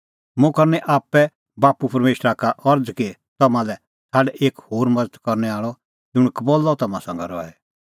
मुंह करनी आपणैं बाप्पू परमेशरा का अरज़ कि तम्हां लै छ़ाड एक होर मज़त करनै आल़अ ज़ुंण कबल्लअ तम्हां संघै रहे